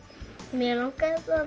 mig langaði það